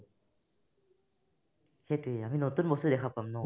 সেইটোয়ে আমি নতুন বস্তু দেখা পাম ন